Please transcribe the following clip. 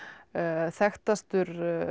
þekktastur